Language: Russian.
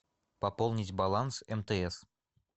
пополнить баланс мтс